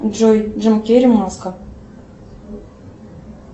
джой джим керри маска